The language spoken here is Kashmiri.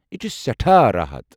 یہِ چھِ سیٹھاہ راحت۔